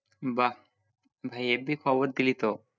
বাঃ ভাই heavy খবর দিলি তো